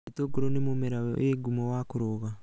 Itũngũrũ nĩ mũmera wĩ ngumo wa kũruga